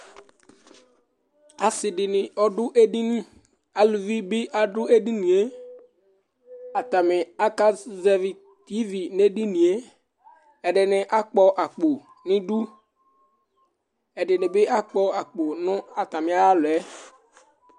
Asiɖìŋí Aɖu aɖiŋi Aluvi bi ŋu ɛɖìníe Ataŋi aka zɛvi ìvì ŋu edinie Ɛɖìní akpɔ akpo ŋu iɖʋ Ɛɖìní bi akpɔ akpo ŋu atami aɣla 'ɛ